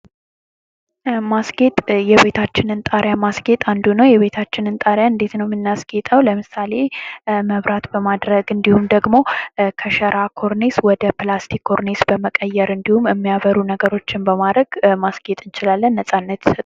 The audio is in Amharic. ማስጌጥ የቤታችንን ጣሪያ ማስጌጥ አንዱ ነው የቤታችንን ጣሪያ እንዴት ነው የምናስጌጠው ለምሳሌ መብራት በማድረግ እንዲሁም ደግሞ ከሸራ ኮርኔስ ወደ ፕላስቲክ ኮርኔስ በመቀየር እንዲሁም የሚያበሩ ነገሮችን በማረግ ማስጌጥ እንችላለን ነፃነት ተሰጥቶን::